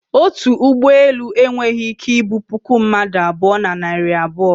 otu ụgbọ elu enweghị ike ibu puku mmadụ abụọ, na narị abuo